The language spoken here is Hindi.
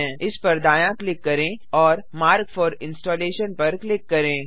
इस पर दायाँ क्लिक करें और मार्क फोर इंस्टॉलेशन पर क्लिक करें